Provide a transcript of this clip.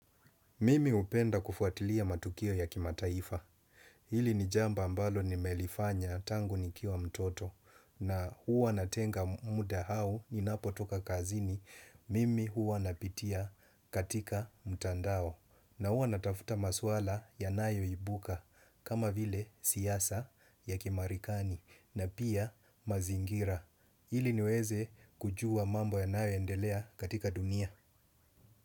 Mimi hupenda kufuatilia matukio ya kimataifa. Hili ni jambo ambalo nimelifanya tangu nikiwa mtoto na huwa natenga muda au ninapotoka kazini. Mimi huwa napitia katika mtandao na huwa natafuta maswala yanayoibuka kama vile siasa ya kimarikani na pia mazingira. Hili niweze kujua mambo yanayoendelea katika dunia.